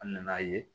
An nan'a ye